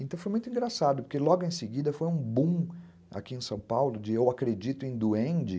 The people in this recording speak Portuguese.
Então foi muito engraçado, porque logo em seguida foi um boom aqui em São Paulo de eu acredito em duende.